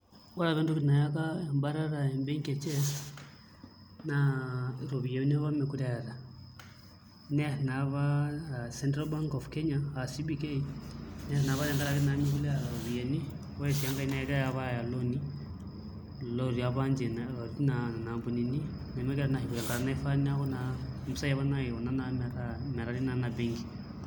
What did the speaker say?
Ore apa entoki nayaka embatata embenki e Chess naa iropiyiani apa meekure eeta neerr naa apa Central Bank of Kenya aa CBK, nerr naa pa tenkaraki meekure eeta iropiyiani, ore sii enkae naa kegirai apa aaya ilooni, ilooni apa ninche naishorita nkampunini nemegirai naa aashuku tenkata nafaa neeku naa mpisai apa naikuna metari naa ina benki.